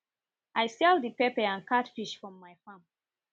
i sell the pepper and catfish from my farm